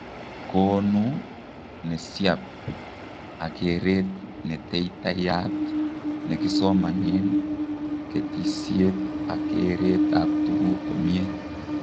Koonu nesiap, ak kereet netetaiyat nekisomanen, ketisiet ak kereet ab tugk komiee